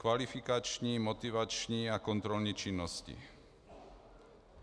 Kvalifikační, motivační a kontrolní činnosti.